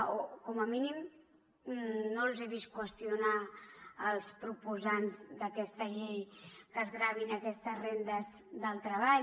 o com a mínim no els he vist qüestionar als proposants d’aquesta llei que es gravin aquestes rendes del treball